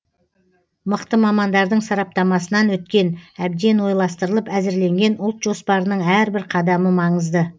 мықты мамандардың сараптамасынан өткен әбден ойластырылып әзірленген ұлт жоспарының әрбір қадамы маңызды